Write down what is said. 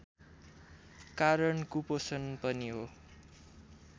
कारण कुपोषण पनि हो